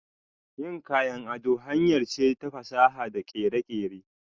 Yin kayan ado hanyar ce ta fasaha da kere-kere.